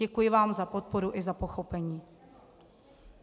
Děkuji vám za podporu i za pochopení.